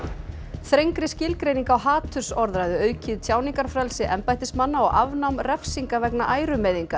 þrengri skilgreining á hatursorðræðu aukið tjáningarfrelsi embættismanna og afnám refsinga vegna ærumeiðinga